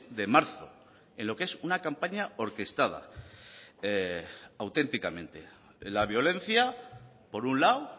de marzo en lo que es una campaña orquestada auténticamente la violencia por un lado